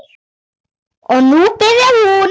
Og nú byrjaði hún.